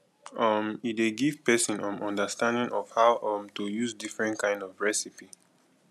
um e dey give person um understanding of how um to use different kind of recipe